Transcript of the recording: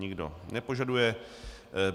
Nikdo nepožaduje.